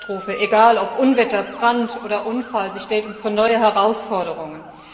Jede Katastrophe, egal ob Unwetter, Brand oder Unfall, stellt uns vor neue Herausforderungen.